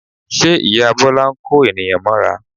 Ṣe ìyá Bọ́lá ń kó ènìyàn mọ́ra?